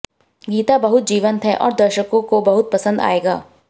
गीत बहुत जीवंत है और दर्शकों को बहुत पसंद आएगा